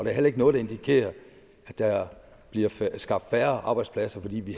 er heller ikke noget der indikerer at der bliver skabt færre arbejdspladser fordi vi